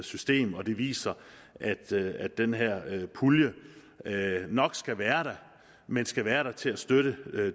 system og det viser at den her pulje nok skal være der men skal være der til at støtte